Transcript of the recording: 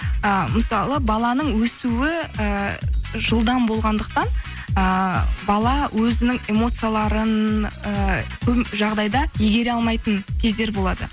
ы мысалы баланың өсуі ііі жылдам болғандықтан ыыы бала өзінің эмоцияларын і көп жағдайда игере алмайтын кездер болады